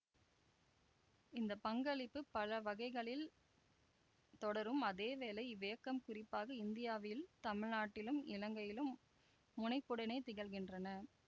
இந்த பங்களிப்புப் பல வகைகளில் தொடரும் அதேவேளை இவ்வியக்கம் குறிப்பாக இந்தியாவில் தமிழ்நாட்டிலும் இலங்கையிலும் முனைப்புடனே திகழ்கின்றன